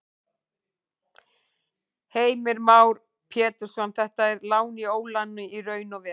Heimir Már Pétursson: Þetta er lán í óláni í raun og veru?